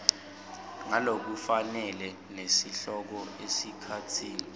ngalokufanele nesihloko esikhatsini